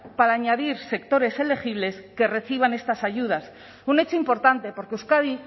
para añadir sectores elegibles que reciban estas ayudas un hecho importante porque euskadi